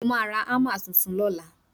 mo ma ra hammer Titun lọla